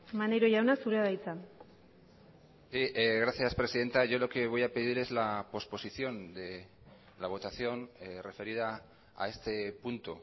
maneiro jauna zurea da hitza gracias presidenta yo lo que voy a pedir es la posposición de la votación referida a este punto